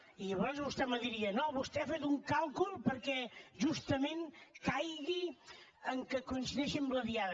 i llavors vostè me diria no vostè ha fet un càlcul perquè justament caigui que coincideixi amb la diada